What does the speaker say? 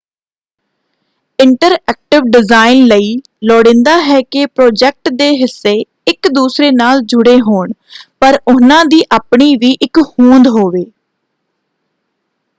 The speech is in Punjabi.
ਇੰਟਰਐਕਟਿਵ ਡਿਜ਼ਾਇਨ ਲਈ ਲੋੜੀਂਦਾ ਹੈ ਕਿ ਪ੍ਰੋਜੈਕਟ ਦੇ ਹਿੱਸੇ ਇੱਕ ਦੂਸਰੇ ਨਾਲ ਜੁੜੇ ਹੋਣ ਪਰ ਉਹਨਾਂ ਦੀ ਆਪਣੀ ਵੀ ਇੱਕ ਹੋਂਦ ਹੋਵੇ।